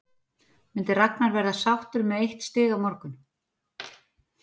Myndi Ragnar vera sáttur með eitt stig á morgun?